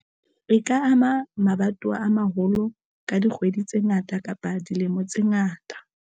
E ka ama mabatowa a maholo ka dikgwedi tse ngata kapa dilemo tse ngata